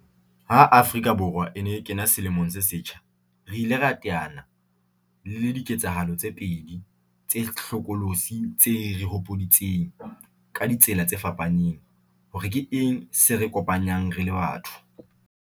Ha Afrika Borwa e ne e kena selemong se setjha, re ile ra teana le le diketsahalo tse pedi tse hlokolosi tse re hopoditseng, ka di tsela tse fapaneng, hore ke eng se re kopanyang re le batho.